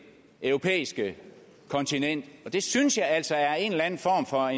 europæiske kontinent det synes jeg altså er en eller anden form for